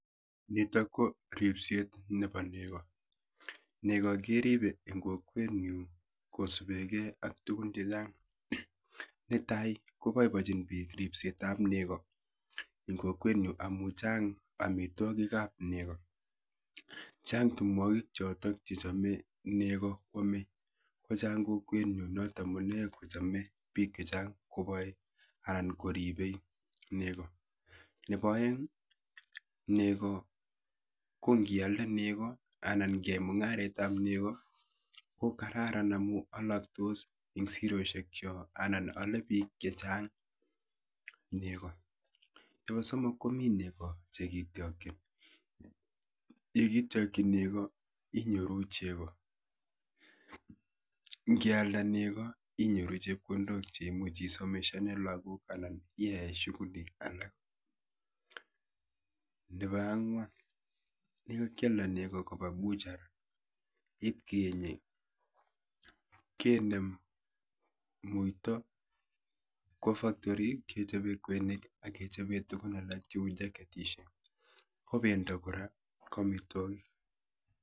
Nitok ko ripset nepo nego. Nego keripe eng kokwenyu kosupekei ak tukun chechang. Netai ko boibochin biik ripsetap nego eng kokwenyu amu chang amitwokikap nego. Chang tumwokik chotok chechome nego kwome, kochang kokwenyu notok amune kochome biik chechang koboe anan koripe nego. Nepo oeng nego ko nkialde nego anan nkiai mung'aretap nego ko kararan amu alaktos eng siroshekchok anan ale biik chechang nego. Nepo somok komi nego chekityokchin. yekityokchi nego inyoru chego. Nkealda nego inyoru chepkondok cheimuchi isomeshane lagok anan iae shughulu alak. Nepo ang'wan yekakyalda nego kopa buchar ipkeenye kenem muito kwo factory ipkechope kweinik ak tukun alak cheu jaketishek, ko pendo kora ko amitwokik.